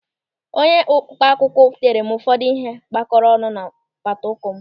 Onye mkpa akwụkwọ tere m ụfọdụ ihe a gwakọrọ ọnụ n'apata ụkwụ m.